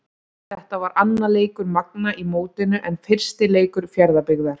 Þetta var annar leikur Magna í mótinu en fyrsti leikur Fjarðabyggðar.